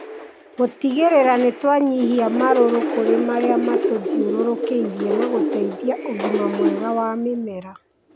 gũtigĩrĩra nĩ twanyihia marũrũ kũrĩ marĩa matũthiũrũrũkĩirie na gũteithia ũgima mwega wa mĩmera.